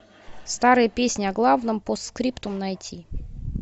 старые песни о главном постскриптум найти